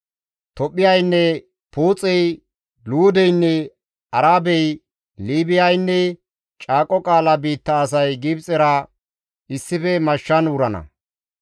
«Tophphiyaynne Puuxey, Luudeynne Arabey, Liibiyaynne caaqo qaala biitta asay Gibxera issife mashshan wurana.